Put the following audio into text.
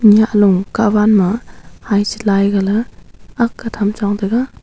nya low katwan ma ice lai ga le aaga tham chong tega.